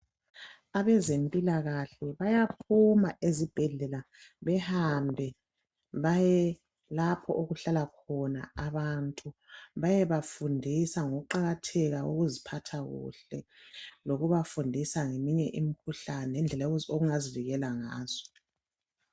Abezempilakahle bayaphuma ezibhedlela behambe baye lapho okuhlala khona abantu, beyeba fundisa ngokuqakatheka kokuziphatha kuhle lokubafundisa ngeminye imikhuhlane indlela ongazivikela ngazo.